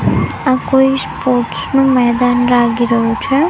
આ કોઈ સ્પોર્ટ્સ નું મેદાન લાગી રહ્યું છે.